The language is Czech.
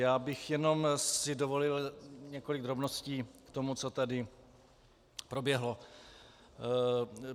Já bych si jenom dovolil několik drobností k tomu, co tady proběhlo.